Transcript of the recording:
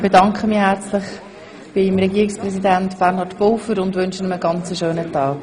Ich bedanke mich herzlich beim Regierungspräsidenten und wünsche ihm noch einen schönen Tag.